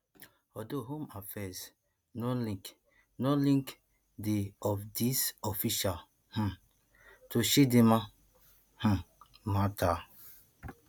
although home affairs no link no link di of dis officials um to chidimma um matter